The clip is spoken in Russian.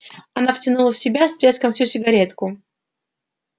она втянула в себя с треском всю сигаретку